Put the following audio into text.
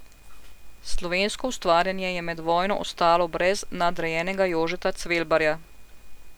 Slovensko ustvarjanje je med vojno ostalo brez nadarjenega Jožeta Cvelbarja.